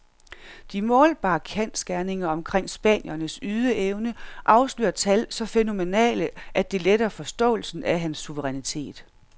De målbare kendsgerninger omkring spanierens ydeevne afslører tal så fænomenale, at det letter forståelsen af hans suverænitet.